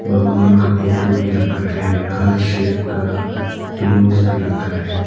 भगवान का फोटो भी रखा है हार्ट शेप का पिलोज भी रखा है।